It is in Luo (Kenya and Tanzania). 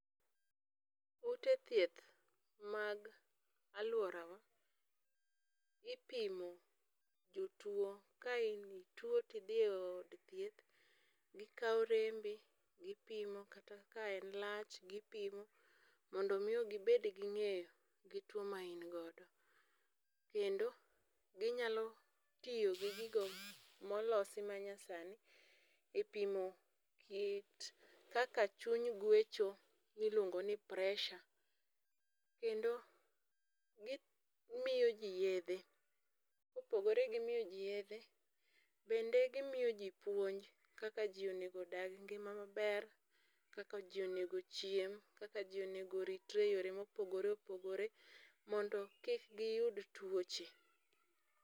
Ute thieth mag aluorawa ipimo jotuo ka in ituo to idhi e od thieth gikawo rembi gipimo kata ka en lach bi pimo mondo miyo gibed gi ng'eyo gi tuo ma in godo, kendo ginyalo tiyo gi gigo molosi manyasani e pimo kit kaka chuny gwecho miluongo ni pressure kendo gimyo ji yedhe kopogore gimiyo ji yedhe bende gimiyo ji puonj kaka ji onego odag ngima maber kaka ji onego chiem kaka ji onego oritre e yore mopogore opogore mondo kik giyud tuoche.